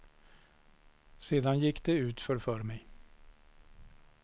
Sedan gick det utför för mig.